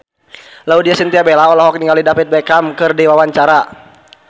Laudya Chintya Bella olohok ningali David Beckham keur diwawancara